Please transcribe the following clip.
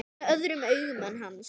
Með öðrum augum en hans.